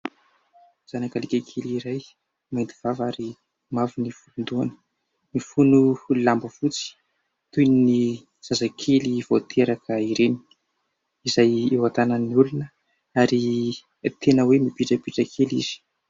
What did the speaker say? Zanaka alika kely iray mihidy vava ary mavo ny volon-dohany. Mifono lamba fotsy toy ny zazakely voateraka ireny izay eo an-tanan'ny olona ary tena hoe mipitrapitra kely izy.